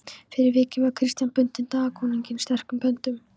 Fyrir vikið var Christian bundinn Danakonungi sterkum böndum.